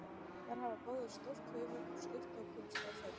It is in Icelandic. Þær hafa báðar stórt höfðuð og stutta og kubbslega fætur.